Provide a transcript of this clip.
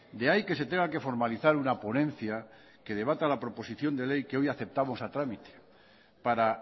de ahí que se tenga que formalizar una ponencia que debata la proposición de ley que hoy aceptamos a trámite para